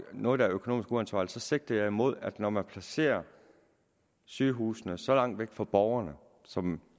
noget der er økonomisk uansvarligt så sigter jeg imod det at når man placerer sygehusene så langt væk fra borgerne som